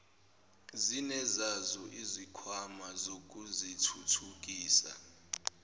zinezazo izikhwama zokuzithuthukisa